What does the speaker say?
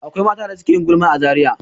Akwai mata da ke yin gulma a Zariya.